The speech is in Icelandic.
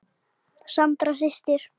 Sandra systir.